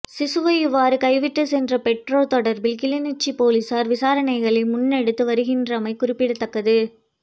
சிசுவை இவ்வாறு கைவிட்டு சென்ற பெற்றோர் தொடர்பில் கிளிநொச்சி பொலிசார் விசாரணைகளை முன்னெடுத்து வருகின்றமை குறிப்பிடத்தக்கது